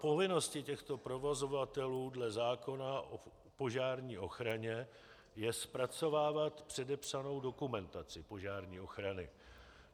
Povinností těchto provozovatelů dle zákona o požární ochraně je zpracovávat předepsanou dokumentaci požární ochrany.